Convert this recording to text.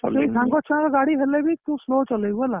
ସେଇ ସାଙ୍ଗ ଛୁଆ ଙ୍କ ଗାଡି ହେଲେ ବି ତୁ slow ଚଲେଇବୁ ହେଲା